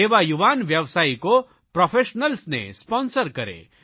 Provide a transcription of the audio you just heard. એવા યુવાન વ્યાવસાયિકો પ્રોફેશનલ્સને સ્પોન્સર કરે